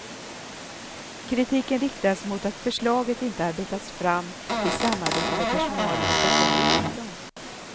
Kritiken riktas mot att förslaget inte arbetats fram i samarbete med personalen utan kommer uppifrån.